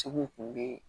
Cogow kun bɛ